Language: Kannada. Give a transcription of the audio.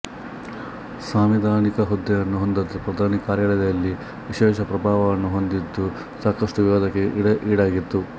ಸಾಂವಿಧಾನಿಕ ಹುದ್ದೆಯನ್ನು ಹೊಂದದೇ ಪ್ರಧಾನಿ ಕಾರ್ಯಾಲಯದಲ್ಲಿ ವಿಶೇಷ ಪ್ರಭಾವವನ್ನು ಹೊಂದಿದ್ದು ಸಾಕಷ್ಟು ವಿವಾದಕ್ಕೆ ಈಡಾಗಿತ್ತು